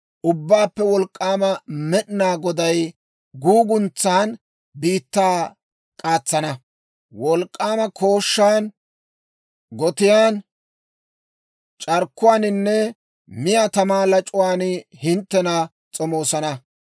Ubbaappe Wolk'k'aama Med'inaa Goday guuguntsaan, biittaa k'aatsan, wolk'k'aama kooshshaan, gotiyaan, c'arkkuwaaninne miyaa tamaa lac'uwaan hinttena s'omoosana.